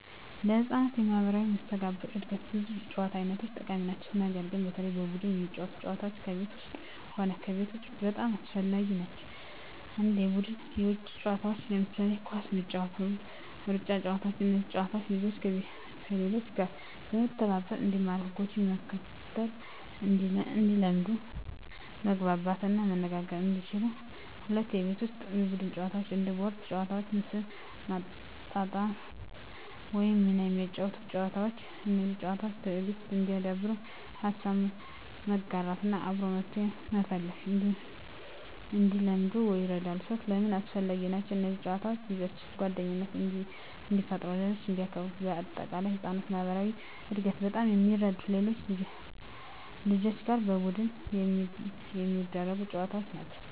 ለሕፃናት የማኅበራዊ መስተጋብር እድገት ብዙ የጨዋታ አይነቶች ጠቃሚ ናቸው። ነገር ግን በተለይ በቡድን የሚጫወቱ ጨዋታዎች ከቤት ውስጥም ሆነ ከቤት ውጭ በጣም አስፈላጊ ናቸው። 1. የቡድን የውጭ ጨዋታዎች ለምሳሌ ኳስ መጫወት፣ ሩጫ ጨዋታዎች እነዚህ ጨዋታዎች ልጆችን፦ ከሌሎች ጋር መተባበር እንዲማሩ ህጎችን መከተል እንዲለምዱ መግባባት እና መነጋገር እንዲችሉ 2. የቤት ውስጥ የቡድን ጨዋታዎች እንደ ቦርድ ጨዋታዎች፣ ምስል ማጣጣም ወይም ሚና የሚያጫውቱ ጨዋታዎች። እነዚህ ጨዋታዎች፦ ትዕግሥት እንዲያዳብሩ፣ ሀሳብ መጋራት እና አብሮ መፍትሄ መፈለግ እንዲለምዱ ይረዳሉ። 3. ለምን አስፈላጊ ናቸው? እነዚህ ጨዋታዎች ልጆችን፦ ጓደኝነት እንዲፈጥሩ ሌሎችን እንዲያክብሩ -በ አጠቃላይ: ለሕፃናት የማኅበራዊ እድገት በጣም የሚረዱት ከሌሎች ልጆች ጋር በቡድን የሚደረጉ ጨዋታዎች ናቸው።